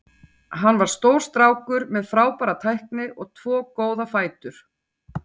Hann var stór strákur með frábæra tækni og tvo góða fætur.